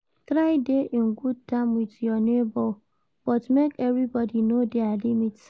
Try de in good term with your neighbour but make everybody know their limit